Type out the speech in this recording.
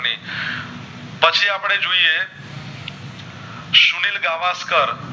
સુનિલ ગવશ કર